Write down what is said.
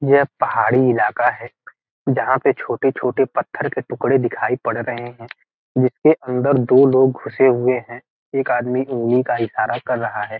यह पहाड़ी इलाका है जहां पर छोटे-छोटे पत्थर के टुकड़े दिखाई पड़ रहे हैं जिसके अंदर दो लोग घुसे हुए हैं एक आदमी उंगली का इशारा कर रहा है।